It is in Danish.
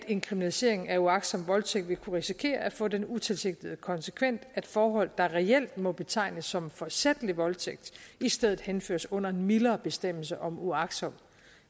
en kriminalisering af uagtsom voldtægt vil kunne risikere at få den utilsigtede konsekvens at forhold der reelt må betegnes som forsætlig voldtægt i stedet henføres under en mildere bestemmelse om uagtsom